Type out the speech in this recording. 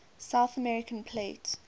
south american plate